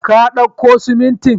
Ka dauko siminti?